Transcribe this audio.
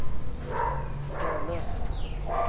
Hölö